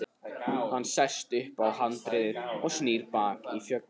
Hann sest upp á handriðið og snýr baki í fjöllin.